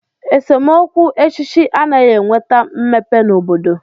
Esemokwu ọchịchị anaghị enweta mmepe n'obodo